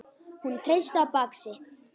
Hún treysti á bak sitt.